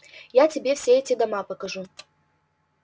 я тебе все эти дома покажу